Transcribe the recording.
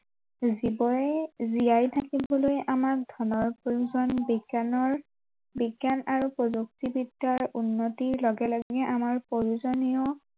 জীৱয়ে জীয়াই থাকিবলৈ আমাক ধনৰ প্ৰয়োজন বিজ্ঞানৰ বিজ্ঞান আৰু প্ৰযুক্তিবিদ্য়াৰ উন্নতিৰ লগে লগে আমাৰ প্ৰয়োজনেও